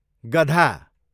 गधा